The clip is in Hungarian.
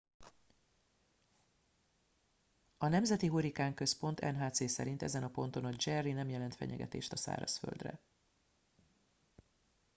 a nemzeti hurrikánközpont nhc szerint ezen a ponton a jerry nem jelent fenyegetést a szárazföldre